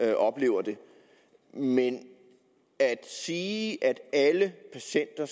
jeg oplever det men at sige at alle patienter